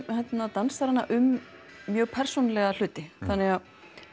dansarana um mjög persónulega hluti þannig